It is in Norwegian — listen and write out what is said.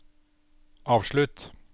avslutt